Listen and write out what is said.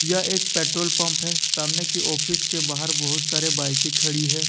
यह एक petrol pump है सामने की ऑफिस के बाहर बहुत सारे बाइकें खड़ी है।